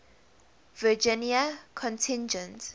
virginia contingent